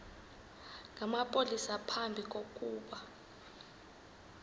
namapolisa phambi kokuba